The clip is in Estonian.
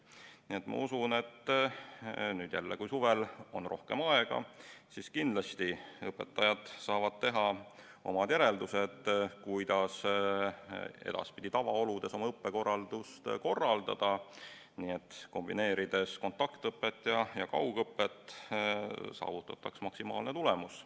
Nii et ma usun, et nüüd, kui suvel on rohkem aega, siis kindlasti õpetajad saavad teha omad järeldused, kuidas edaspidi tavaoludes õpet korraldada, nii et kontaktõpet ja kaugõpet kombineerides saavutataks maksimaalne tulemus.